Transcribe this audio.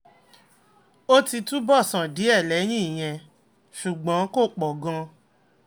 ó ti túbọ̀ sàn díẹ̀ lẹ́yìn ìyẹn ṣùgbọ́n kò pọ̀ gan-an